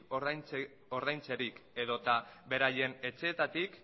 ordaintzerik edota beraien etxeetatik